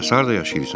Bəs harda yaşayırsan?